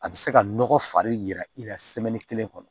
A bɛ se ka nɔgɔ fari jira i la kelen kɔnɔ